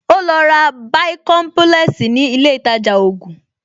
Ó lọ ra bàìkọ́ḿpúlẹ́ẹ̀sì ní ilé ìtajà ògùn